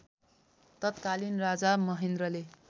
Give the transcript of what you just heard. तत्कालीन राजा महेन्द्रले